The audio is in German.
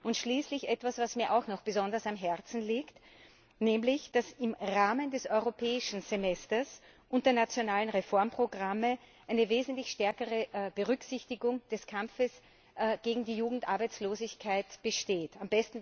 Und schließlich etwas, was mir auch noch besonders am Herzen liegt nämlich, dass im Rahmen des Europäischen Semesters und der nationalen Reformprogramme eine wesentlich stärkere Berücksichtigung des Kampfes gegen die Jugendarbeitslosigkeit erreicht wurde.